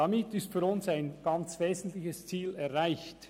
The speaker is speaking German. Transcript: Damit ist für uns ein ganz wesentliches Ziel erreicht: